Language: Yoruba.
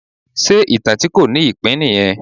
Ṣe ìtàn tí kò ní ìpín nìyẹn?